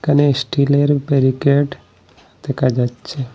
এখানে স্টিলের বেরিকেড দেখা যাচ্ছে।